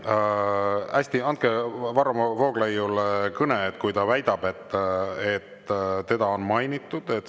Hästi, andke Varro Vooglaiule mikrofon, kui ta väidab, et teda on mainitud.